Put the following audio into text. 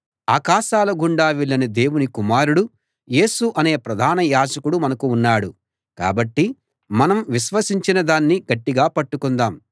ఆకాశాలగుండా వెళ్ళిన దేవుని కుమారుడు యేసు అనే ప్రధాన యాజకుడు మనకు ఉన్నాడు కాబట్టి మనం విశ్వసించినదాన్ని గట్టిగా పట్టుకుందాం